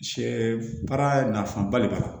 Sɛ baara nafaba de b'a la